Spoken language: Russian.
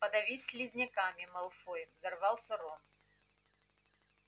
подавись слизняками малфой взорвался рон